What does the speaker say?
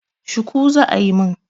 Shuku za a yi mun.